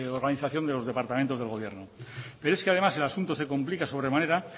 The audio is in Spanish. organizaciónde los departamentos del gobierno pero es que además el asunto se complica sobremanera